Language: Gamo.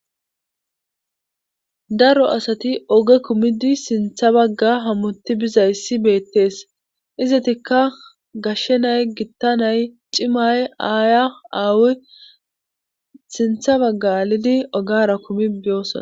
daro asati oge kumidi sintha bagga hamuti bizayssi beettees izatikka gashshenay gittanay cimay aaya aawu sintha baggalidi ogara kumi beyosona